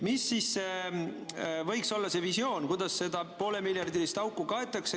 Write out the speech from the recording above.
Mis võiks olla see visioon, kuidas seda poolemiljardilist auku kaetakse?